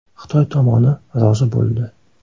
Xitoy tomoni rozi bo‘ldi.